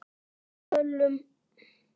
og sölum.